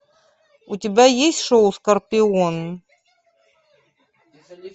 у тебя есть шоу скорпион